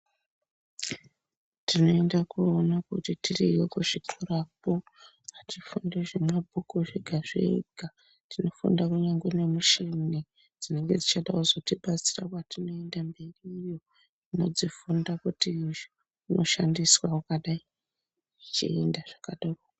Tineende koona kuti tiriyo kuzvikorakwo atifundi zvemabhuku zvega zvega tinofunda kunyangwe nemushini dzinenge dzichada kuzotibatsira patinoenda mberiyo tinodzifunda kuti hosha inoshandiswa wakadai zvichienda zvakadaro.